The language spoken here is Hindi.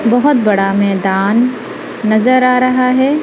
बहुत बड़ा मैदान नज़र आ रहा है।